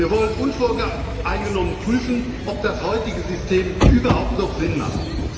Wir wollen unvoreingenommen prüfen, ob das heutige System überhaupt noch Sinn hat.